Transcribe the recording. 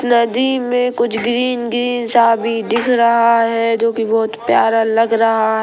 नदी में कुछ ग्रीन ग्रीन सा भी दिख रहा है जो की बहुत प्यारा लग रहा--